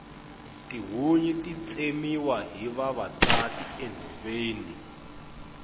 tihunyi ti tsemiwa hi vavasati enhoveni